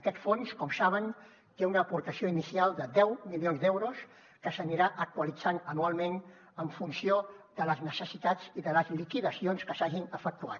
aquest fons com saben té una aportació inicial de deu milions d’euros que s’anirà actualitzant anualment en funció de les necessitats i de les liquidacions que s’hagin efectuat